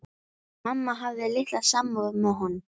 Mamma hafði litla samúð með honum.